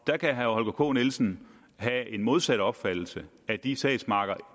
der kan herre holger k nielsen have en modsat opfattelse at de sagsmapper